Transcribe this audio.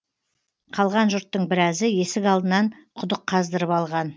қалған жұрттың біразы есік алдынан құдық қаздырып алған